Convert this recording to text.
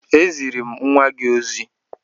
E ziri m nnwa gị ozi